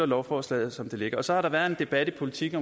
lovforslaget som det ligger så har der været en debat i politiken